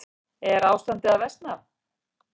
En er ástandið að versna?